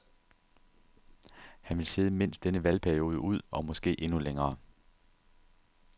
Han vil sidde mindst denne valgperiode ud, og måske endnu længere.